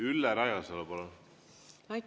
Ülle Rajasalu, palun!